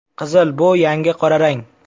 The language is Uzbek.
Qizil bu yangi qora rang.